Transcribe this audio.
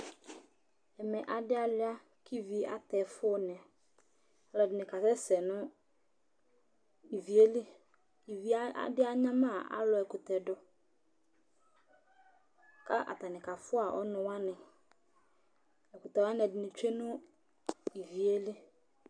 Ɛmɛ adɩ alʋɩa kʋ ivi atɛ ɛfʋnɩ Alʋɛdɩnɩ kasɛsɛ nʋ ivi yɛ li, ivi yɛ, adɩ anyama alʋ ɛkʋtɛ dʋ kʋ atanɩ kafʋa ɔnʋ wanɩ Ɛkʋtɛ wanɩ ɛdɩnɩ tsue nʋ ivi yɛ li